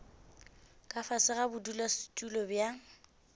ka fase ga bodulasetulo bja